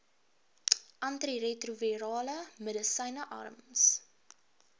antiretrovirale medisyne arms